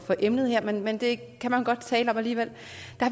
emnet her men men det kan man godt tale om alligevel